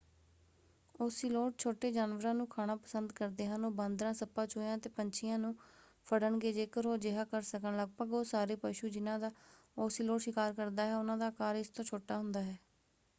Ocelot ਛੋਟੇ ਜਾਨਵਰਾਂ ਨੂੰ ਖਾਣਾ ਪਸੰਦ ਕਰਦੇ ਹਨ। ਉਹ ਬਾਂਦਰਾਂ ਸੱਪਾਂ ਚੂਹਿਆਂ ਅਤੇ ਪੰਛੀਆਂ ਨੂੰ ਫੜਣਗੇ ਜੇਕਰ ਉਹ ਅਜਿਹਾ ਕਰ ਸਕਣ। ਲਗਭਗ ਉਹ ਸਾਰੇ ਪਸ਼ੂ ਜਿਨ੍ਹਾਂ ਦਾ ਓਸੀਲੋਟ ਸ਼ਿਕਾਰ ਕਰਦਾ ਹੈ ਉਹਨਾਂ ਦਾ ਆਕਾਰ ਇਸ ਤੋਂ ਛੋਟਾ ਹੁੰਦਾ ਹੈ।